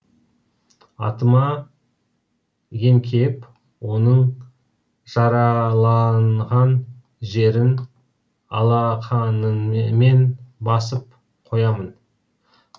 атыма еңкейіп оның жараланған жерін алақаныммен басып қоямын